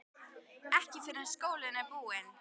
Ekki fyrr en skólinn er búinn